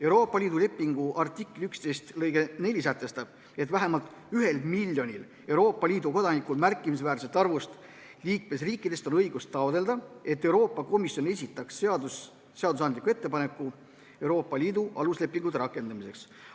Euroopa Liidu lepingu artikli 11 lõige 4 sätestab, et vähemalt ühel miljonil Euroopa Liidu kodanikul märkimisväärsest arvust liikmesriikidest on õigus taotleda, et Euroopa Komisjon esitaks seadusandliku ettepaneku Euroopa Liidu aluslepingute rakendamiseks.